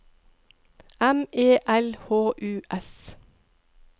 M E L H U S